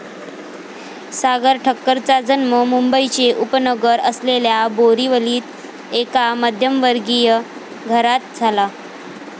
सागर ठक्करचा जन्म मुंबईचे उपनगर असलेल्या बोरिवलीत एका मध्यमवर्गीय घरात झाला.